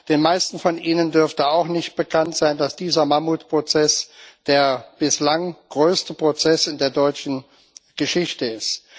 Den meisten von Ihnen dürfte auch nicht bekannt sein, dass dieser Mammutprozess der bislang größte Prozess in der deutschen Geschichte ist.